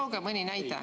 Tooge mõni näide.